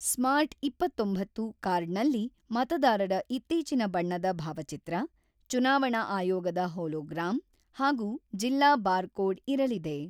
Smart ಇಪ್ಪತ್ತೊಂಬತ್ತು ಕಾರ್ಡ್‌ನಲ್ಲಿ ಮತದಾರರ ಇತ್ತೀಚಿನ ಬಣ್ಣದ ಭಾವಚಿತ್ರ, ಚುನಾವಣಾ ಆಯೋಗದ ಹೋಲೋಗ್ರಾಮ್ ಹಾಗೂ ಜಿಲ್ಲಾ ಬಾರ್‌ಕೋಡ್ ಇರಲಿದೆ.